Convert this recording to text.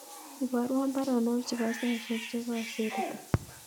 Iborwon baronok chebo saisiek chekosirto